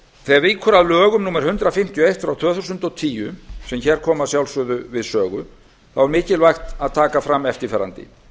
þegar víkur að lögum númer hundrað fimmtíu og eitt tvö þúsund og tíu sem hér koma að sjálfsögðu við sögu er mikilvægt að taka fram eftirfarandi